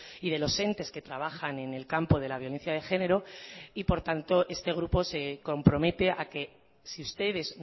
y de los entes que trabajan en el campo de la violencia de género y por tanto este grupo se compromete a que si ustedes